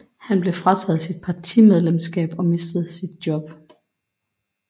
Han blev frataget sit partimedlemskab og mistede sit job